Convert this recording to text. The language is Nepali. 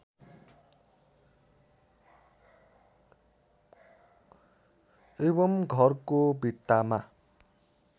एवं घरको भित्तामा